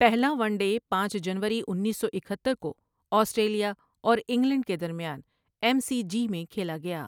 پہلا one day پانچ جنوری انیس سو اکہتر کو آسٹریلیا اور انگلینڈ کے درمیان ایم سی جی میں کھیلا گیا ۔